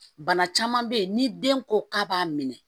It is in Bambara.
Bana caman bɛ yen ni den ko k'a b'a minɛ